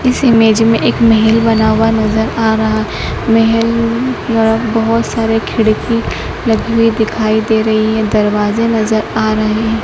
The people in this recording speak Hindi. इस इमेज में एक महल बना हुआ नजर आ रहा महल द्वारा बजोत सारे खिड़की लगी हुई दिखाई दे रही है दरवाजे नजर आ रहे है।